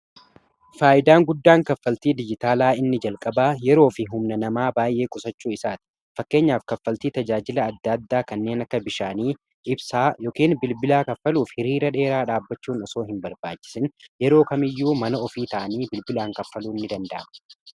faayidaan guddaan kaffaltii dijitaalaa inni jalqaba yeroo fi humna namaa baay'ee qusachuu isaati .fakkeenyaaf kaffaltii tajaajila adda addaa kanneen akka bishaanii ibsaa ykn bilbilaa kaffaluuf hiriira dheeraa dhaabbachuun isoo hin barbaacisin yeroo kamiyyuu mana ofii ta'anii bilbilaan kaffaluu ni danda'ama.